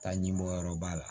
Taa ɲi bɔ yɔrɔ b'a la